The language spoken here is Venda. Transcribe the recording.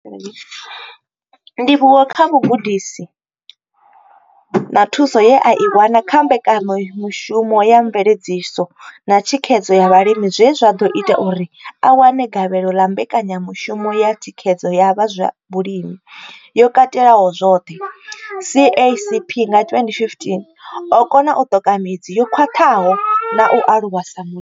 Ndivhuwo kha vhugudisi na thuso ye a i wana kha Mbekanya mushumo ya Mveledziso na Thikhedzo ya Vhalimi zwe zwa ḓo ita uri a wane gavhelo ḽa Mbekanya mushumo ya Thikhedzo ya zwa Vhulimi yo Katelaho zwoṱhe, CASP, nga 2015, o kona u ṱoka midzi yo khwaṱhaho na u aluwa sa mu.